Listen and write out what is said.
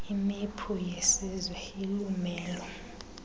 imephu yesiza ilumelo